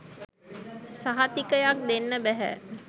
සහතිකයක් දෙන්න බැහැ.